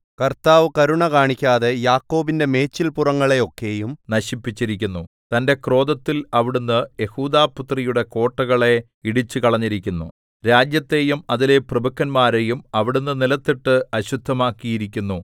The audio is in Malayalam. കർത്താവ് കരുണ കാണിക്കാതെ യാക്കോബിന്റെ മേച്ചൽപുറങ്ങളെയൊക്കെയും നശിപ്പിച്ചിരിക്കുന്നു തന്റെ ക്രോധത്തിൽ അവിടുന്ന് യെഹൂദാപുത്രിയുടെ കോട്ടകളെ ഇടിച്ചുകളഞ്ഞിരിക്കുന്നു രാജ്യത്തെയും അതിലെ പ്രഭുക്കന്മാരെയും അവിടുന്ന് നിലത്തിട്ട് അശുദ്ധമാക്കിയിരിക്കുന്നു